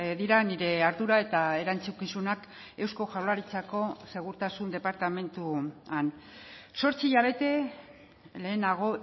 dira nire ardura eta erantzukizunak eusko jaurlaritzako segurtasun departamentuan zortzi hilabete lehenago